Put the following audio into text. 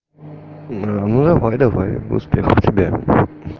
ну давай-давай успехов тебе